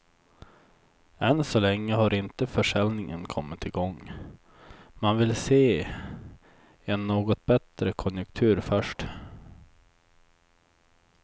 Än så länge har inte försäljningen kommit igång, man vill se en något bättre konjunktur först.